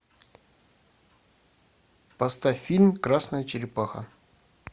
поставь фильм красная черепаха